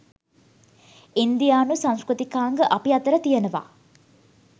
ඉන්දියානු සංස්කෘතිකාංග අපි අතර තියනවා.